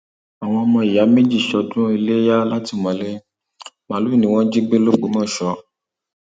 àwọn ọmọ ọmọ ìyá méjì sọdún iléyà látìmọlé um màálùú ni wọn jí gbé lògbòmọṣọ um